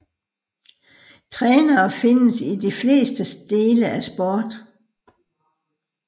Trænere findes i de fleste dele af sport